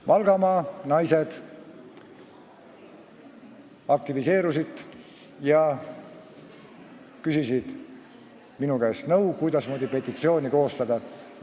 Valgamaa naised aktiviseerusid ja küsisid minu käest nõu, kuidasmoodi petitsiooni koostada.